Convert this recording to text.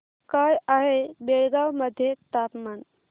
काय आहे बेळगाव मध्ये तापमान